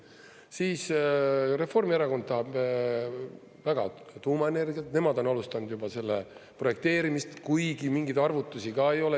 Siis Reformierakond tahab väga tuumaenergiat, nemad on alustanud juba selle projekteerimist, kuigi mingeid arvutusi ka ei ole.